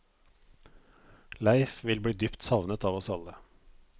Leif vil bli dypt savnet av oss alle.